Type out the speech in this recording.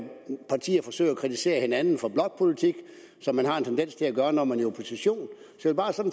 kritisere hinanden for blokpolitik som man har en tendens til at gøre når man er i opposition så bare